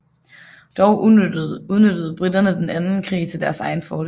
Dog udnyttede briterne den anden krig til deres egen fordel